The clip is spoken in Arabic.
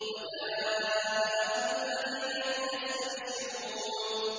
وَجَاءَ أَهْلُ الْمَدِينَةِ يَسْتَبْشِرُونَ